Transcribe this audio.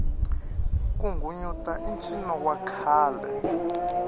ku nghunyuta i ncino wa khale